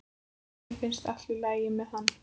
Mér finnst allt í lagi með hann.